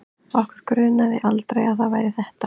Okkur grunaði aldrei að það væri ÞETTA!